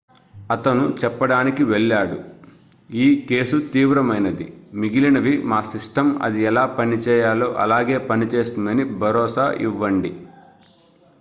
"అతను చెప్పడానికి వెళ్ళాడు "ఈ కేసు తీవ్రమైనది. మిగిలినవి మా సిస్టమ్ అది ఎలా పని చేయాలో అలాగే పనిచేస్తుందని భరోసా ఇవ్వండి.""